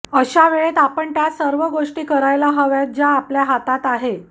अशावेळेत आपण त्या सर्व गोष्टी करायला हव्यात ज्या आपल्या हातात आहे